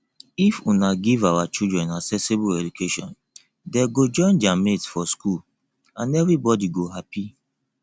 if una give our children accessible education dey go join their mates for school and everybody go happy